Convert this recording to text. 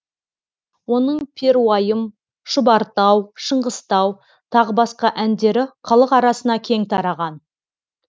оның перуайым шұбартау шыңғыстау тағы басқа әндері халық арасына кең тараған